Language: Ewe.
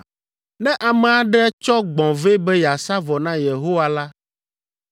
“ ‘Ne ame aɖe tsɔ gbɔ̃ vɛ be yeasa vɔ na Yehowa la,